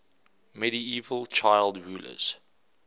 medieval child rulers